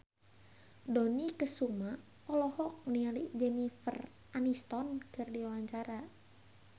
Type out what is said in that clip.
Dony Kesuma olohok ningali Jennifer Aniston keur diwawancara